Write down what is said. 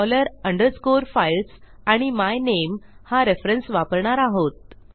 dollar underscore files आणि my name हा reference वापरणार आहोत